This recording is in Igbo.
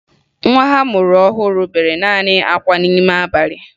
Nwa ha a mụrụ ọhụrụ bere naanị akwa n'ime abalị